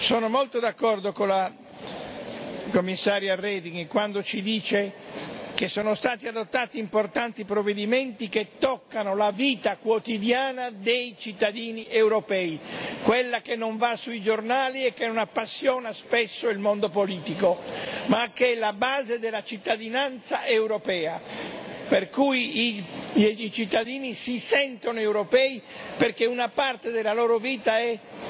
Sono molto d'accordo con la Commissaria Reding quando ci dice che sono stati adottati importanti provvedimenti che toccano la vita quotidiana dei cittadini europei, quella che non va sui giornali e che non appassiona spesso il mondo politico, ma che è la base della cittadinanza europea, per cui i cittadini si sentono europei perché una parte della loro vita è